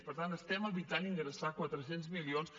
per tant estem evitant ingressar quatre cents milions